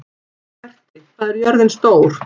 Berti, hvað er jörðin stór?